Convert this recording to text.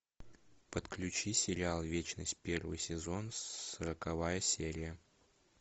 подключи сериал вечность первый сезон сороковая серия